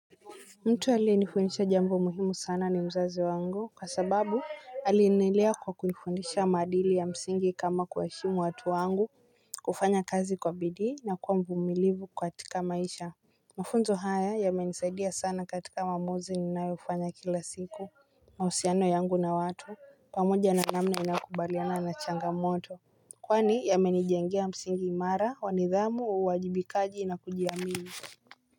Mtu aliyenifundisha jambo muhimu sana ni mzazi wangu kwa sababu alinilea kwa kunifundisha maadili ya msingi kama kuwaheshimu watu wangu kufanya kazi kwa bidii na kuwa mvumilivu katika maisha. Mafunzo haya yamenisaidia sana katika maamuzi ninayofanya kila siku na uhusiano yangu na watu pamoja na namna inakubaliana na changamoto. Kwani yamenijengea msingi imara wa nidhamu uwajibikaji na kujiamini.